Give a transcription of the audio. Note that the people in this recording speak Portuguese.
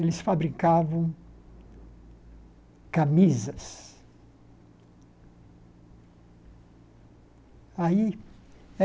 Eles fabricavam camisas. Aí é